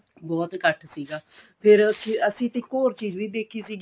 ਬਹੁਤ ਇੱਕਠ ਸੀਗਾ ਫ਼ੇਰ ਅਸੀਂ ਅਸੀਂ ਇੱਕ ਹੋਰ ਚੀਜ਼ ਦੇਖੀ ਸੀਗੀ